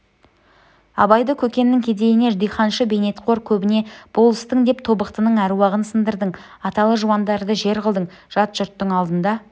абайды көкеннің кедейіне диханшы бейнетқор көбіне болыстың деп тобықтының әруағын сындырдың аталы жуандарды жер қылдың жат жұрттың алдында